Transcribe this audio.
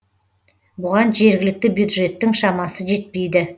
бұған жергілікті бюджеттің шамасы жетпейді